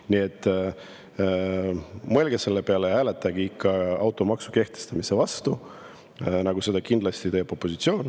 Nii et mõelge selle peale ja hääletage ikka automaksu kehtestamise vastu, nagu seda kindlasti teeb opositsioon.